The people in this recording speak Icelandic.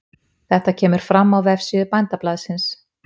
Þetta kemur fram á vefsíðu Bændablaðsins